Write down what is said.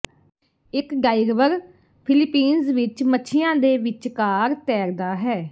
ਇਕ diver Philippines ਵਿੱਚ ਮੱਛੀਆਂ ਦੇ ਵਿਚਕਾਰ ਤੈਰਦਾ ਹੈ